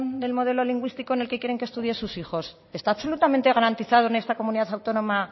del modelo lingüístico en el que quieren que estudien sus hijos está absolutamente garantizado en esta comunidad autónoma